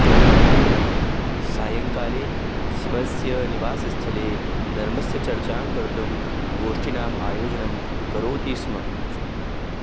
सांयकाले स्वस्य निवासस्थले धर्मस्य चर्चां कर्तुं गोष्ठीनाम् आयोजनं करोति स्म